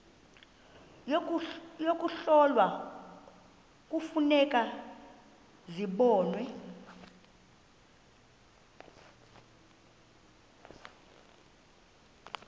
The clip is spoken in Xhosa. yokuhlola kufuneka zibonwe